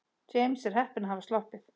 James er heppinn að hafa sloppið.